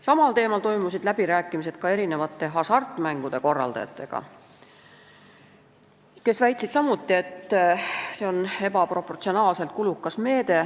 Samal teemal toimusid läbirääkimised ka hasartmängude korraldajatega, kes väitsid samuti, et see on ebaproportsionaalselt kulukas meede.